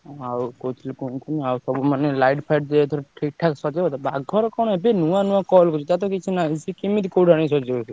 ଆଉ କହୁଥିଲି କଣ କି ଆଉ ସବୁ ମାନେ light ଫାଇଟ ଦିଅ ହେଇ ଠିକ୍ ଠାକ ସଜେଇବ ବାଘ ର କଣ ନୂଆ ନୂଆ call ଟାର ତ କିଛି ନାହିଁ,